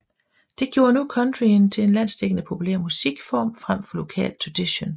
Det gjorde nu countryen til en landsdækkende populær musikform frem for en lokal tradition